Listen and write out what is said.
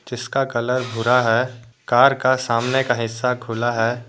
जिसका कलर भूरा है कार का सामने का हिस्सा खुला है।